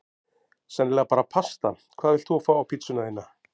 Sennilega bara pasta Hvað vilt þú fá á pizzuna þína?